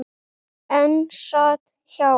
Einn sat hjá.